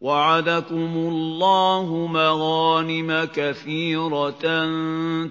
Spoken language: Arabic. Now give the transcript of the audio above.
وَعَدَكُمُ اللَّهُ مَغَانِمَ كَثِيرَةً